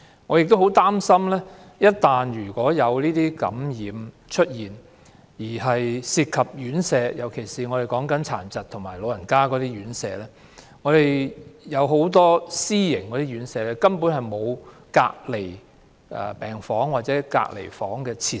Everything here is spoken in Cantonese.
我很擔心一旦院舍出現感染情況，尤其是殘疾人士及長者院舍，情況就難以控制，因為很多私營院舍沒有隔離病房或隔離設施。